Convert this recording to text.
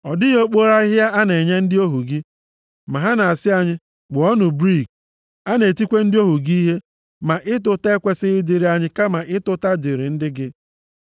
Ọ dịghị okporo ahịhịa a na-enye ndị ohu gị, ma ha na-asị anyị, ‘Kpụọnụ brik!’ A na-etikwa ndị ohu gị ihe, ma ịta ụta ekwesighị ịdịrị anyị kama ịta ụta dịrị ndị gị.”